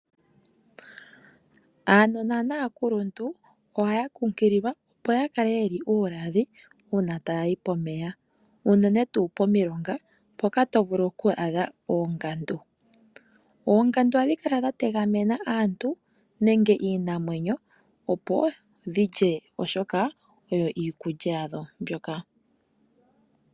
Aanona naakuluntu ohaya kunkililwa opo ya kale yeli uuladhi una taya yi pomeya. Unene tuu pomiilonga mpoka to vulu oku adha oongandu. Oongandu ohadhi kala dha tegamena aantu nenge iinamwenyo opo dhilye oshoka odho iikulya yadho mbyoka.